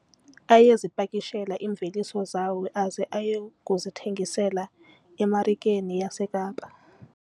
Ayezipakishela iimveliso zawo aze aye kuzithengisa emarikeni yaseKapa.